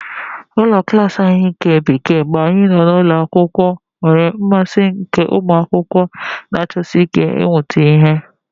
Ụlọ klas anyị nke Bekee mgbe anyị nọ n'ụlọ akwụkwọ nwere mmasị nke ụmụ akwụkwọ na-achọsi ike ịmụta ihe.